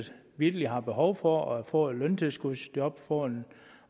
vitterlig har behov for at få et løntilskudsjob få en